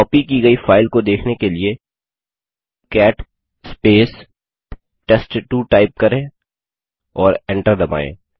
copy की गई file को देखने के लिए कैट टेस्ट2 टाइप करें और एंटर दबायें